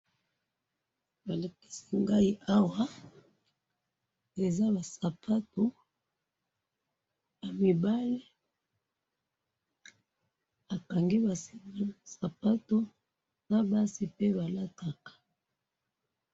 Balakisi ngai awa ,eza ba sapatu ya mibali bakangi ba singa ya sapatu na basi pe balataka